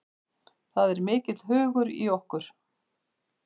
Það er mikill hugur í okkur